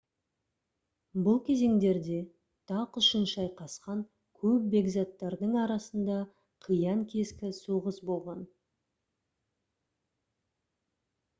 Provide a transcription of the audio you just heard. бұл кезеңдерде тақ үшін шайқасқан көп бекзаттардың арасында қиян-кескі соғыс болған